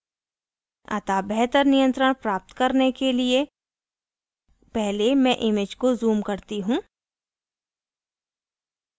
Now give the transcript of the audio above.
अतः बेहतर नियंत्रण प्राप्त करने के लिए पहले मैं image को zoom करती हूँ